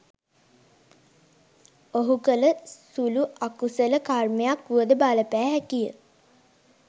ඔහු කළ සුළු අකුසල කර්මයක් වුවද බලපෑ හැකිය.